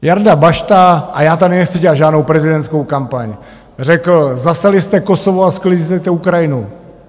Jarda Bašta - a já tady nechci dělat žádnou prezidentskou kampaň - řekl: Zaseli jste Kosovo a sklízíte Ukrajinu.